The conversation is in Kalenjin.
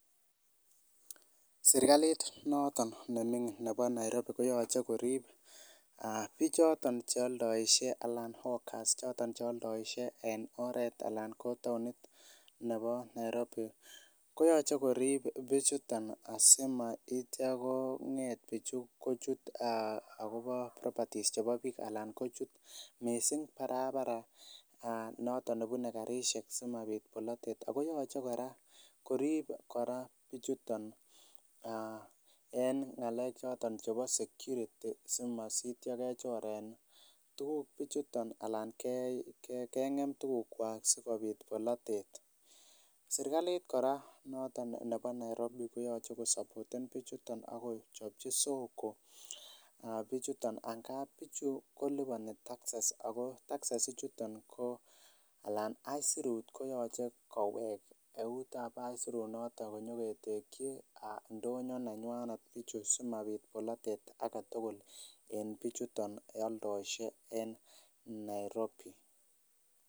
Serikalit noto neming'in ne bo Nairobi koyoche korip aa bichoton chealdoisie alan ogas choton chealdoisien en oert alan ko taonit ne bo nairobi koyoche korip bichuton asimaitian kong'et bichu kochut aa akobo properties nepo biik alan kochut missing barabara aa noton nebune karisiek simapit bolatet akoyoche korip kora bichuton aa en ng'alek choton chebo security simasitia kechoren tukuk bichuto ana keng'em sikopit bolatet serikalit kora noto ne bo Nairobi koyoche kosupporten bichuton akochopchi soko aa bichuto angapi bichu kolipon taxes, ako taxes ichuton alan aisurut koyoche kowek eutab aisurunoto kinyoketekyi aa ndonyo nenywanet bichu simapit bolatet aketugul en bichuto aldoisie en Nairobi.